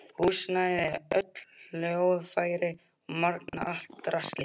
Húsnæði, öll hljóðfæri og magnara, allt draslið.